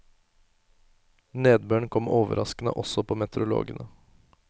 Nedbøren kom overraskende også på meteorologene.